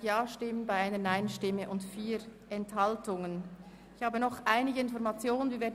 Ich habe nun noch einige Informationen.